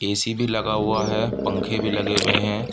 AC. भी लगा हुआ है। पंखे भी लगे हुए हैं।